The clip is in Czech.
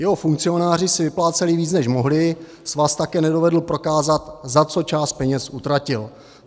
Jeho funkcionáři si vypláceli víc, než mohli, svaz také nedovedl prokázat, za co část peněz utratil.